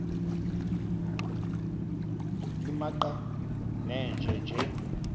nimaqe nenje nje